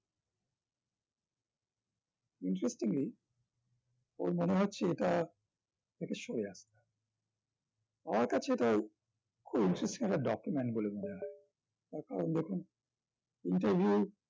interestingly ওর মনে হচ্ছে এটা শুভ যাত্রা আমার কাছে এটাই খুব interesting একটা document বলে মনে হয় তাকান যখন interview